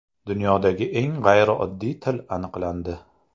Dunyodagi eng g‘ayrioddiy til aniqlandi.